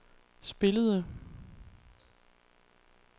spillede